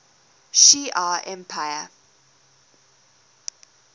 shi ar empire